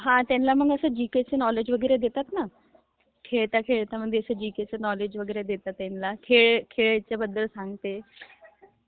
हा त्यांना जीकेचं नॉलेज देतत ना....खेळता खेळता जीकेचं नॉलेज... खेळबदेदल सांगते...